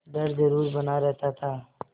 डर जरुर बना रहता था